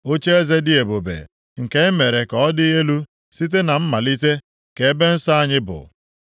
Ocheeze dị ebube, nke e mere ka ọ dị elu site na mmalite, ka ebe nsọ anyị bụ.